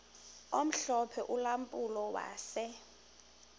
omhlophe ulampulo wase